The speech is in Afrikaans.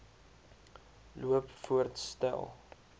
loop voorts stel